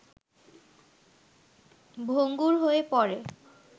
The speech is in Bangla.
ভঙ্গুর হয়ে পড়ে